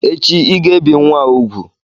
Echi ị-ga ebi nwa a úgwù!